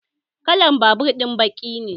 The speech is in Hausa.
Kalan babur ɗin baki ne